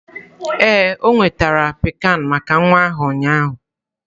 Ee, ọ nwetara pikan maka nwa ahụ ụnyaahụ.